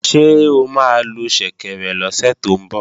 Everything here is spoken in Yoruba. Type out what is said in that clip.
Ṣé o máa lo ṣẹ̀kẹ̀rẹ̀ lọ́sẹ̀ tó ń bọ̀?